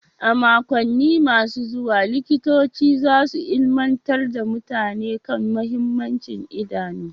A makonni masu zuwa, Likitoci za su ilimantar da mutane kan mahimmancin idanu.